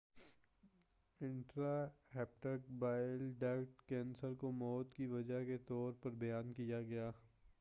intra hepatic bile duct cancer کو موت کی وجہ کے طور پر بیان کیا گیا